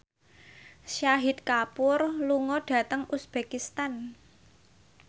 Shahid Kapoor lunga dhateng uzbekistan